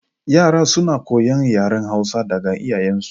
Yara suna koyan yaren Hausa daga iyayen su